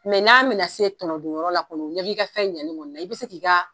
n'a bɛ na se tɔnɔ dun yɔrɔ la kɔnɔ, u ɲɛ b'i i ka fɛn ɲɛne kɔni na i bɛ se k i ka